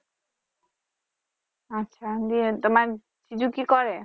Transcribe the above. আচ্ছা বিয়ের মানে জিজু কি করে?